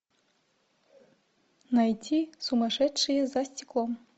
найти сумасшедшие за стеклом